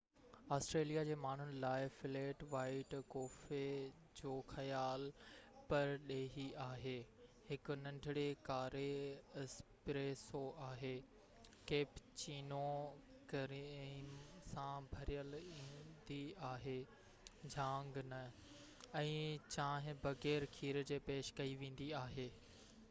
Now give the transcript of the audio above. Australia جي ماڻهن لاءِ ‘فليٽ وائيٽ’ ڪوفي جو خيال پرڏيهي آهي. هڪ ننڍڙي ڪاري ’اسپريسو‘ آهي، ڪيپيچينو ڪريم سان ڀريل ايندي آهي جهاگ نه، ۽ چانهه بغير کير جي پيش ڪئي ويندي آهي